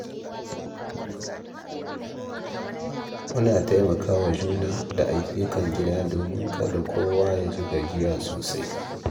Muna taimaka wa juna da ayyukan gida domin kada kowa ya ji gajiya sosai.